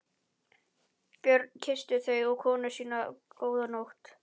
Björn kyssti þau og konu sína góða nótt.